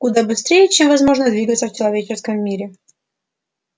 куда быстрее чем возможно двигаться в человеческом мире